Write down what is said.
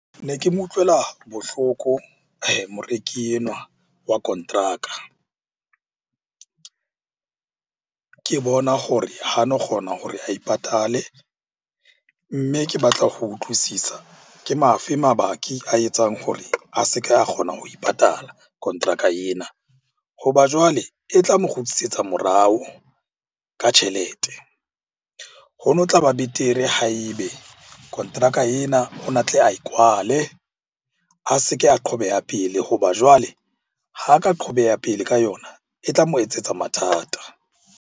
Ne ke mo utlwela bohloko moreki enwa wa konteraka. Ke bona hore ha no kgona hore ae patalle, mme ke batla ho utlwisisa ke a fe a etsang hore a se ke a kgona ho e patala kontraka ena? Ho na jwale e tla mo kgutlisetsa morao ka tjhelete. Ho no tlaba betere ha e be kontraka ena o ne a tle ae kwale, a se ke a qhobeha pele. Hoba jwale ha ka qhobeha pele ka yona, e tla mo etsetsa mathata.